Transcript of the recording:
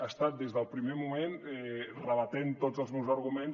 ha estat des del primer moment rebatent tots els meus arguments